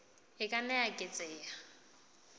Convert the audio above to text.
e ka nna ya eketseha